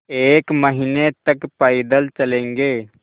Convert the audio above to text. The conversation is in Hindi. एक महीने तक पैदल चलेंगे